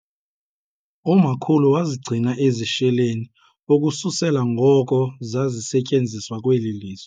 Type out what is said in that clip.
Umakhulu wazigcina ezi sheleni ukususela ngoko zazisetyenziswa kweli lizwe.